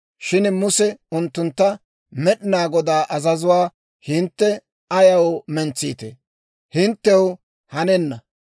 Shin Muse unttuntta, «Med'inaa Godaa azazuwaa hintte ayaw mentsiitee? Hinttew hanenna.